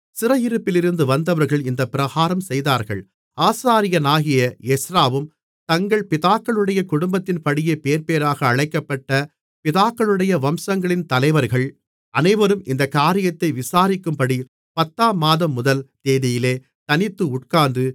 சிறையிருப்பிலிருந்து வந்தவர்கள் இந்தப்பிரகாரம் செய்தார்கள் ஆசாரியனாகிய எஸ்றாவும் தங்கள் பிதாக்களுடைய குடும்பத்தின்படியே பேர்பேராக அழைக்கப்பட்ட பிதாக்களுடைய வம்சங்களின் தலைவர்கள் அனைவரும் இந்தக் காரியத்தை விசாரிக்கும்படி பத்தாம் மாதம் முதல் தேதியிலே தனித்து உட்கார்ந்து